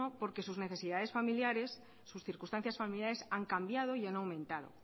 porque sus necesidades familiares sus circunstancias familiares han cambiado y han aumentado